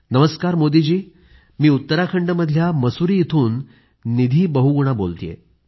नमस्कार मोदी जी मी उत्तराखंडमधल्या मसुरी इथून निधी बहुगुणा बोलतेय